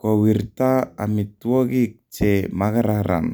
kowirta amitwokik che makararan